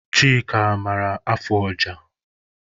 Chika, ị maara afụ ọja?